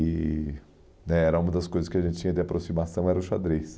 E... né era uma das coisas que a gente tinha de aproximação era o xadrez.